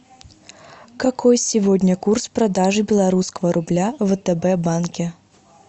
какой сегодня курс продажи белорусского рубля в втб банке